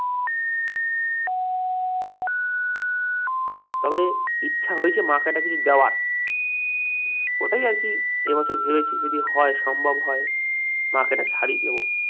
তবে ইচ্ছা হয়েছে মাকে একটা কিছু দেওয়ার ওটাই আরকি এই বছর ভেবেছি যদি হয় সম্ভব, মাকে একটা শাড়ী দেব